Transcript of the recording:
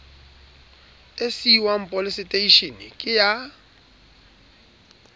e siuwang poleseteishene ke ya